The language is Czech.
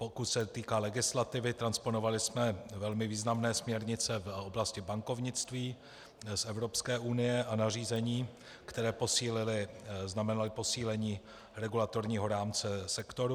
Pokud se týká legislativy, transponovali jsme velmi významné směrnice v oblasti bankovnictví z Evropské unie a nařízení, které posílily, znamenaly posílení regulatorního rámce sektoru.